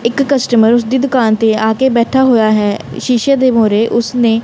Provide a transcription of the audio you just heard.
ਇੱਕ ਕਸਟਮਰ ਉਸ ਦੀ ਦੁਕਾਨ ਤੇ ਆ ਕੇ ਬੈਠਾ ਹੋਇਆ ਹੈ ਸ਼ੀਸ਼ੇ ਦੇ ਮੂਹਰੇ ਉਸਨੇ--